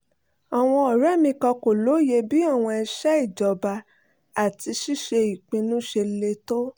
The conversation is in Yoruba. àwọn ọ̀rẹ́ mi kan kò lóye bí àwọn iṣẹ́ ìjọba àti ṣíṣe ìpinnu ṣe le tó